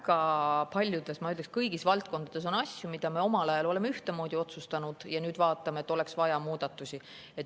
Väga paljudes valdkondades, ma ütleks isegi, et kõigis valdkondades on asju, mida me omal ajal oleme ühtemoodi otsustanud ja nüüd vaatame, et oleks vaja muudatusi.